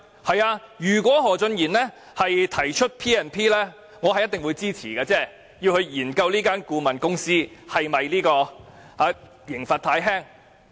是的，如果何俊賢議員提出引用《立法會條例》進行調查，我一定會支持，從而研究對這間顧問公司的懲罰是否太輕。